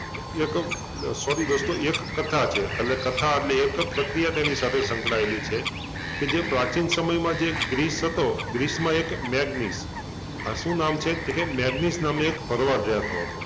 એક sorry દોસ્તો એક કથા છે એટલે કથા એટલે એક પ્રક્રિયા તેની સાથે સંકળાયેલી છે કે જે પ્રાચીન સમયમાં જે ગ્રીસ હતો ગ્રીસમાં એક મેગ્નીસ આ શુંં નામ છે તો કે મેગ્નીસ નામે એક ભરવાડ રેતો હતો